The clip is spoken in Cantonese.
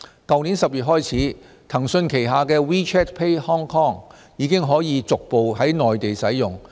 去年10月起，騰訊旗下的 WeChat Pay Hong Kong 已經可逐步於內地使用。